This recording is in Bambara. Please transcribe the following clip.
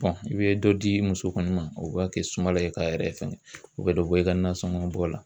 Wa i bɛ dɔ di muso kɔni ma o b'a kɛ sumala ye k'a yɛrɛ fɛngɛ o bɛ dɔ bɔ i ka nasɔngɔ bɔ la.